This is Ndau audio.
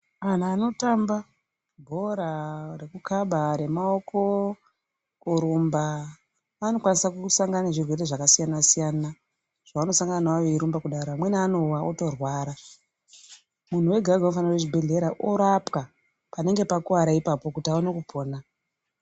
Antu anotamba bhora rekukaba, remaoko, kurumba anokwanisa kusangana nezvirwere zvakasiyana siyana zvavanosangana nazvo veirumba kudaro. Pamweni antu anowa otorwara. Muntu wega wega unofana kuenda kuzvibhehlera orapwa panenge pakwara ipapo kuti aone kupona.